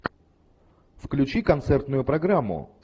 включи концертную программу